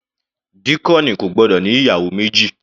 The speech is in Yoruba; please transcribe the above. Díákónì kò gbọ́dọ̀ ní ìyàwó méjì.